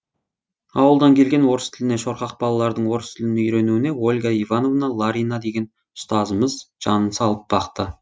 ауылдан келген орыс тіліне шорқақ балалардың орыс тілін үйренуіне ольга иванова ларина деген ұстазымыз жанын салып бақты